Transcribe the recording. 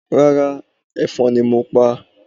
Rárá, ẹ̀fọn ni mo pa